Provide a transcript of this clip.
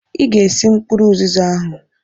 Ị ga-esi mkpụrụ ụzịza ahụ!